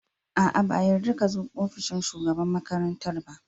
A'a! ba a yarda ka zo ofishin shugaban makarantar ba.